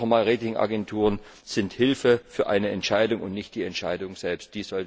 Noch einmal Ratingagenturen sind Hilfe für eine Entscheidung und nicht die Entscheidung selbst.